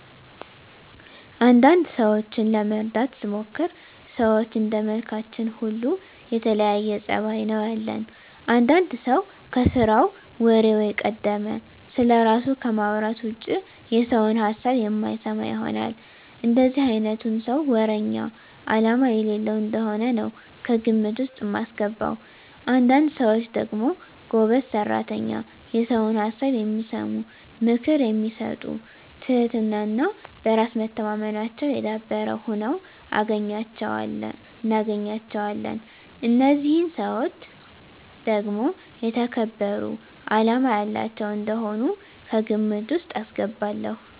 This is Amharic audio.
አንዳንድ ሰዎችን ለመረዳት ስሞክር ሰዎች እንደመልካችን ሁሉ የተለያየ ፀባይ ነው ያለን። አንዳንድ ሰው ከስራው ወሬው የቀደመ፣ ስለራሱ ከማውራት ውጭ የሰውን ሀሳብ የማይሰማ ይሆናል። እንደዚህ አይነቱን ሰው ወረኛ አላማ የሌለው እንደሆነ ነው ከግምት ውስጥ ማስገባው። አንዳንድ ሰዎች ደግሞ ጎበዝ ሰራተኛ፣ የሰውን ሀሳብ የሚሰሙ፣ ምክር የሚሰጡ ትህትና እና በራስ መተማመናቸው የዳበረ ሁነው እናገኛቸዋለን። እነዚህን ሰዎች ደግሞ የተከበሩ አላማ ያላቸው እንደሆኑ ከግምት ውስጥ አስገባለሁ።